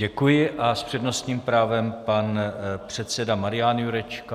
Děkuji a s přednostním právem pan předseda Marian Jurečka.